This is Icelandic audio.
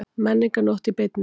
Menningarnótt í beinni